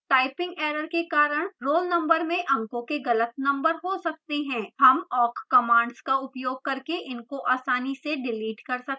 typing error के कारण roll number में अंकों के गलत number हो सकते हैं